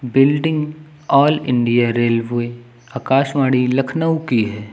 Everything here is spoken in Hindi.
Building all India railway Akashvani Lucknow की है।